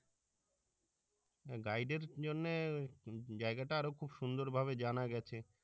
guide এর জন্য জায়গাটা আরও খুব সুন্দর ভাবে জানা গেছে